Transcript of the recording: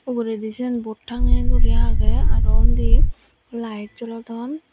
uguredi sin board tangiye guri aage aro undi light jolodon.